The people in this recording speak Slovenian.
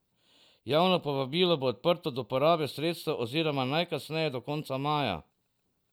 Javno povabilo bo odprto do porabe sredstev oziroma najkasneje do konca maja.